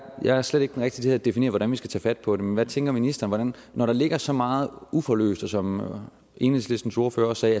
jeg er slet ikke den rigtige til at definere hvordan vi skal tage fat på det men hvad tænker ministeren når der ligger så meget uforløst som enhedslistens ordfører også